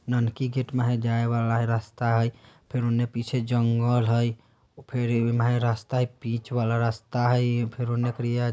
नानके गेट में जाए वाला रास्ता है फिर उन्ने पीछे जंगल है फिर उन्ने रास्ता है बीच वाला रास्ता है फिर उन्ने करिए--